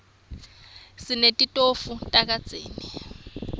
sinetitofu tagezi